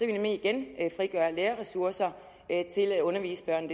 vi nemlig igen frigøre lærerressourcer til at undervise børn